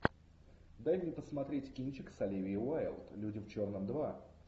дай мне посмотреть кинчик с оливией уайлд люди в черном два